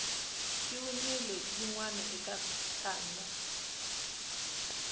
xi winile yinwe eka tanda